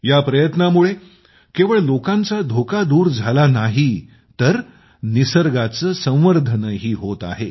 या प्रयत्नामुळे केवळ लोकांचा धोका दूर झाला नाही तर निसर्गाचे संवर्धनही होत आहे